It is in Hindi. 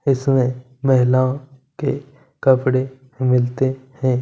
इसमें महिलाओं के कपड़े मिलते हैं।